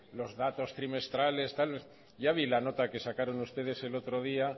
los datos trimestrales ya vi la nota que sacaron ustedes el otro día